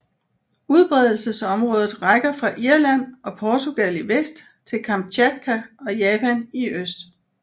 Udbredelsesområdet rækker fra Irland og Portugal i vest til Kamtjatka og Japan i øst